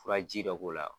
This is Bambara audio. Furaji dɔ k'o la